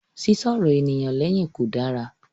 Sísọ ọ̀rọ̀ ènìyàn lẹ́yìn kò dára.